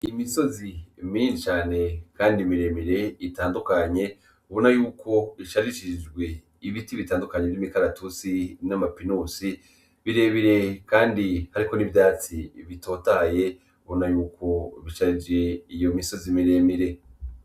Imisozi mirincane, kandi miremire itandukanye ubona yuko isarishisijwe ibiti bitandukanye iv'imikaratusi n'amapinusi birebire, kandi hariko n'ivyatsi bitotaye bona yuko bicarije iyo misozi miremire.